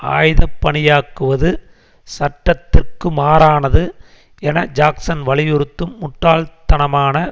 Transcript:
ஆயுதபணியாக்குவது சட்டத்திற்குமாறானது என ஜாக்சன் வலியுறுத்தும் முட்டாள்த்தனமான